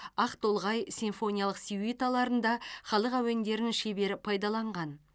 ақтолғай симфониялық сюиталарында халық әуендерін шебер пайдаланған